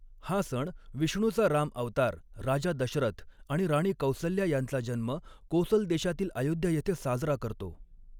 हा सण विष्णूचा राम अवतार, राजा दशरथ आणि राणी कौसल्या यांचा जन्म कोसलदेशातील अयोध्या येथे साजरा करतो.